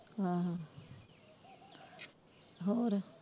ਆਹੋ ਹੋਰ?